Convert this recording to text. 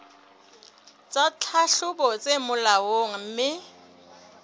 tsa tlhahlobo tse molaong mme